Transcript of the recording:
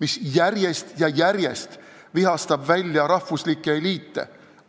mis järjest ja järjest vihastab välja rahvuslikke eliite.